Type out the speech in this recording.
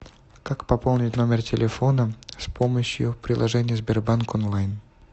как пополнить номер телефона с помощью приложения сбербанк онлайн